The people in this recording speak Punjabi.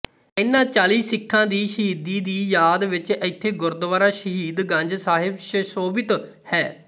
ਇਨ੍ਹਾਂ ਚਾਲੀ ਸਿੱਖਾਂ ਦੀ ਸ਼ਹੀਦੀ ਦੀ ਯਾਦ ਵਿੱਚ ਇੱਥੇ ਗੁਰਦੁਆਰਾ ਸ਼ਹੀਦ ਗੰਜ ਸਾਹਿਬ ਸ਼ਸੋਭਿਤ ਹੈ